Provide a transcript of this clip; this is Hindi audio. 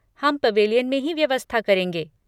हम पवेलियन में ही व्यवस्था करेंगे।